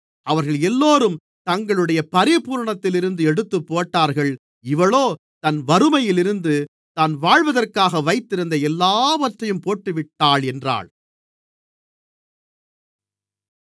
அவர்களெல்லோரும் தங்களுடைய பரிபூரணத்திலிருந்து எடுத்துப்போட்டார்கள் இவளோ தன் வறுமையிலிருந்து தான் வாழ்வதற்காக வைத்திருந்த எல்லாவற்றையும் போட்டுவிட்டாள் என்றார்